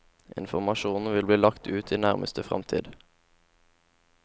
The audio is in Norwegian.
Informasjonen vil bli lagt ut i nærmeste fremtid.